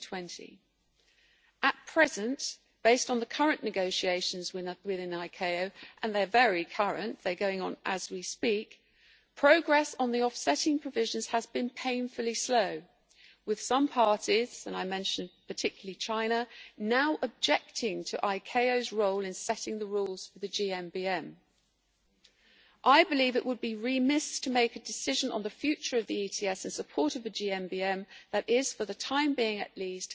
2020. At present, based on the current negotiations within ICAO and they are very current and going on as we speak progress on the offsetting provisions has been painfully slow, with some parties and I mention China in particular now objecting to ICAO's role in setting the rules for the GMBM. I believe it would be remiss to make a decision on the future of the ETS in support of a GMBM that is, for the time being at least,